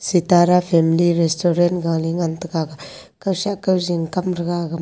sitara family restaurant gale ngan taga kao shi kao jong kam taga aga ma.